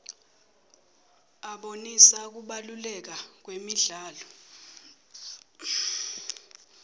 abonisa kubaluleka kwemidlalo